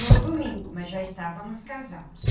No domingo, mas já estávamos casados.